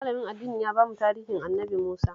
Malamin addinin ya ba mu tarihin Annabi Musa